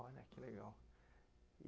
Olha, que legal.